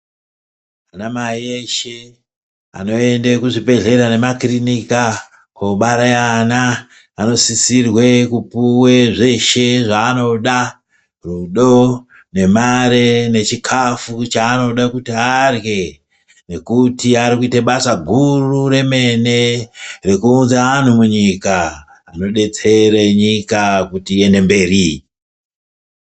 Ana mai eshe anoende kuzvibhedhlera nemakirinika kobare ana, anosisirwe kupuwe zveshe zvaanoda, rudo nemari nechikafu chaanoda kuti arye nekuti ari kuite basa guru remene rekuunze anhu munyika. Anobetsere nyika kuti iyende mberi.